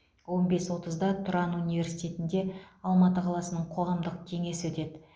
он бес отызда тұран университетінде алматы қаласының қоғамдық кеңесі өтеді